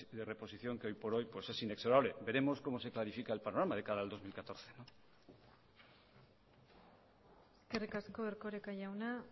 de reposición que hoy por hoy es inexorable veremos como se clarifica el panorama de cara al dos mil catorce eskerrik asko erkoreka jauna